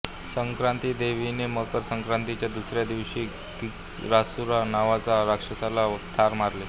संक्रांतीदेवीने मकर संक्रांतीच्या दुसऱ्या दिवशी किंकरासुरा नावाच्या राक्षसाला ठार मारले